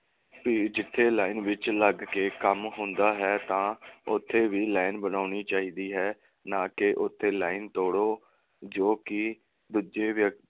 ਭੀੜ ਜਿਥੇ line ਵਿਚ ਲੱਗ ਕੇ ਕੰਮ ਹੁੰਦਾ ਹੈ ਤਾਂ ਉਥੇ ਵੀ line ਬਣਾਉਣੀ ਚਾਹੀਦੀ ਹੈ ਨਾ ਕਿ ਉਥੇ line ਤੋੜੋ ਜੋ ਕਿ ਦੂਜੇ ਵਿਅਕਤੀਆਂ